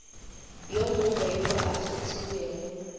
yo mongwe yo a kgethilwego